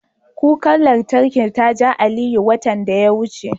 Kukar lantarkin ta ja Aliyu, watan da ya wuce.